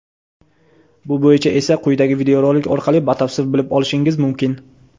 Bu bo‘yicha esa quyidagi videorolik orqali batafsil bilib olishingiz mumkin.